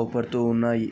వాహన ఆలు--